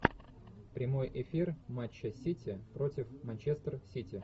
прямой эфир матча сити против манчестер сити